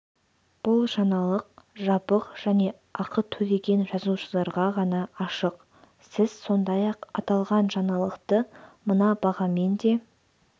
бұл жаңалық жабық және ақы төлеген жазылушыларға ғана ашық сіз сондай-ақ аталған жаңалықты мына бағамен де